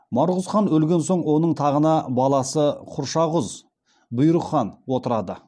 марғұз хан өлген соң оның тағына баласы құршағұз бұйрық хан отырады